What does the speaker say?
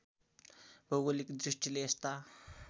भौगोलिक दृष्टिले यस्ता